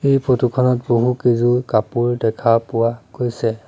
এই ফটো খনত বহুকেইযোৰ কাপোৰ দেখা পোৱা গৈছে